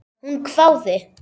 Hún hváði.